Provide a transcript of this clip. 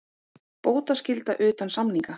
Bótaskylda utan samninga.